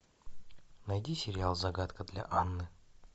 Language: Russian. найди сериал загадка для анны